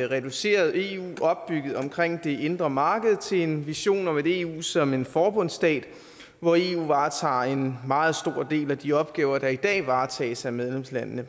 reduceret eu opbygget omkring det indre marked til en vision om et eu som en forbundsstat hvor eu varetager en meget stor del af de opgaver der i dag varetages af medlemslandene